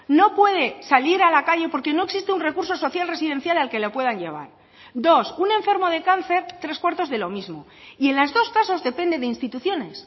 no puede salir a la calle porque no existe un recurso social residencial al que le pueden llevar dos un enfermo de cáncer tres cuartos de lo mismo y en los dos casos depende de instituciones